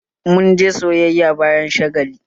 Mun je sayayya bayan shagalin